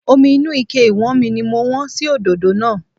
Omi inú Ike ìwọ́nmi ni mo wọ́n sí òdòdó náà